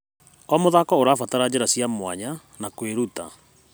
O mũthako ũrabatara njĩra cia mwanya na kwĩruta.